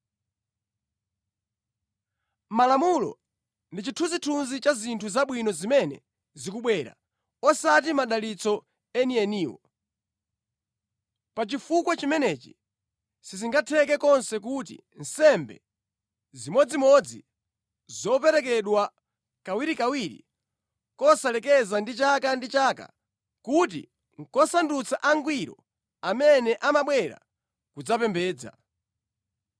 Malamulo ndi chithunzithunzi cha zinthu zabwino zimene zikubwera, osati madalitso enieniwo. Pa chifukwa chimenechi sizingatheke konse kuti nsembe zimodzimodzi, zoperekedwa kawirikawiri, kosalekeza ndi chaka ndi chaka, kuti nʼkusandutsa angwiro amene amabwera kudzapembedza.